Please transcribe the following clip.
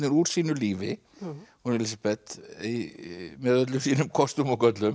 úr sínu lífi hún Elísabet með öllum sínum kostum og göllum